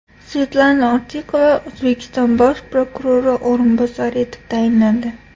Svetlana Ortiqova O‘zbekiston bosh prokurori o‘rinbosari etib tayinlandi.